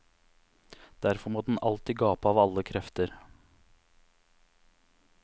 Derfor må den alltid gape av alle krefter.